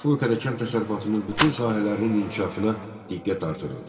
Respublikada kənd təsərrüfatının bütün sahələrinin inkişafına diqqət artırıldı.